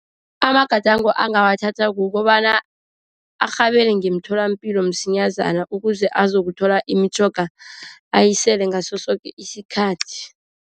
Amagadango angawathatha kukobana arhabele ngemtholapilo msinyazana, ukuze azakuthola imitjhoga ayisele ngaso soke isikhathi.